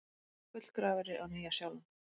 Gullgrafari á Nýja-Sjálandi.